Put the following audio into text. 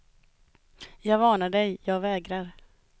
Jag varnar dig, jag vägrar.